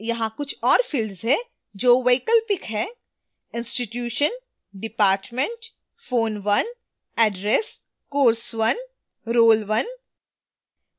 यहाँ कुछ और fields हैं जो वैकल्पिक हैं: